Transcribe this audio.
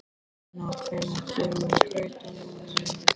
Finna, hvenær kemur strætó númer níu?